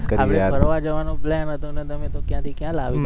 આપડે ફરવા જવાનો plane હતો ને તમે તો ક્યાં થી ક્યાં લાવી દીધા